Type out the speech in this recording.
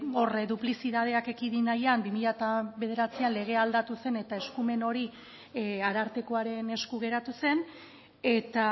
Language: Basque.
hor duplizitateak ekidin nahian bi mila bederatzian legea aldatu zen eta eskumen hori arartekoaren esku geratu zen eta